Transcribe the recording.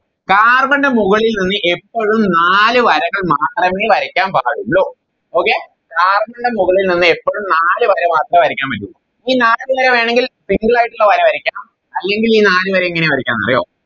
Carbon ന്റെ മുകളിൽ നിന്ന് എപ്പഴും നാല് വരകൾ മാത്രമേ വരയ്ക്കാൻ പാടുള്ളു okayCarbon ൻറെ മുകളിൽ നിന്ന് എപ്പളും നാല് വരകൾ മാത്രമേ വരക്കാൻ പറ്റുള്ളൂ ഈ നാല് വര വേണെങ്കിൽ Single ആയിട്ടുള്ള വര വരക്കാം അല്ലെങ്കിൽ ഈ നാല് വര എങ്ങനെ വരക്കാന്നറിയോ